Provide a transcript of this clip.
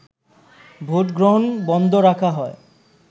vote গ্রহণ বন্ধ রাখা হয়